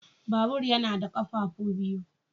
Babur yana da ƙafafu biyu.